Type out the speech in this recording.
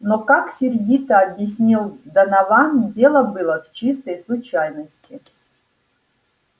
но как сердито объяснил донован дело было в чистой случайности